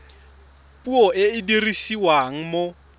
puo e e dirisiwang mo